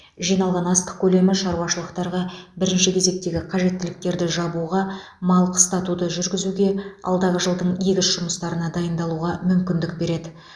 жиналған астық көлемі шаруашылықтарға бірінші кезектегі қажеттіліктерді жабуға мал қыстатуды жүргізуге алдағы жылдың егіс жұмыстарына дайындалуға мүмкіндік береді